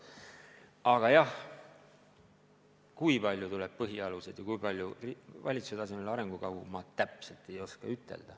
Aga jah, kui palju tuleb põhialuseid ja kui palju valitsuse tasemel arengukavu, ma täpselt ei oska öelda.